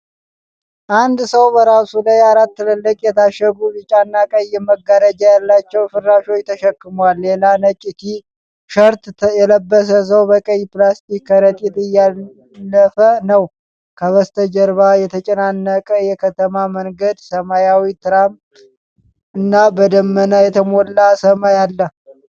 አንድ ሰው በራሱ ላይ አራት ትልልቅ የታሸጉ ቢጫና ቀይ መጋረጃ ያላቸው ፍራሾችን ተሸክሟል። ሌላ ነጭ ቲ-ሸርት የለበሰ ሰው በቀይ ፕላስቲክ ከረጢት እያለፈ ነው። ከበስተጀርባ የተጨናነቀ የከተማ መንገድ፣ ሰማያዊ ትራም እና በደመና የተሞላ ሰማይ አለ።